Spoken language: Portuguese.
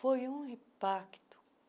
Foi um impacto.